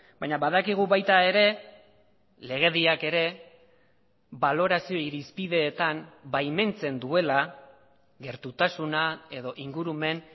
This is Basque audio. baina badakigu baita ere legediak ere balorazio irizpideetan baimentzen duela gertutasuna edo ingurumen